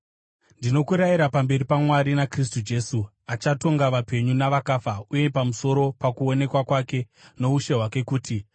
Ndinokurayira pamberi paMwari naKristu Jesu, achatonga vapenyu navakafa uye pamusoro pokuonekwa kwake noushe hwake kuti: